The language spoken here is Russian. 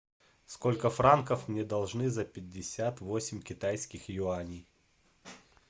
сколько франков мне должны за пятьдесят восемь китайских юаней